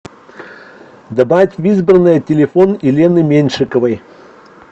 добавить в избранное телефон елены меньшиковой